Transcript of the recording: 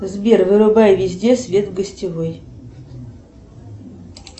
сбер вырубай везде свет в гостевой